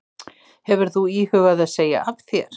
Hefur þú íhugað að segja af þér?